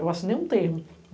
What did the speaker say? Eu assinei um termo.